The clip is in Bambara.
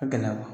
Ka gɛlɛ